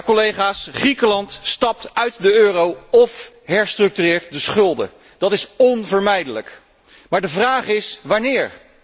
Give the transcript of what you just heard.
Collega's, Griekenland stapt uit de euro of herstructureert de schulden, dat is onvermijdelijk, de vraag is echter wanneer?